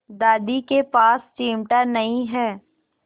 दादी के पास चिमटा नहीं है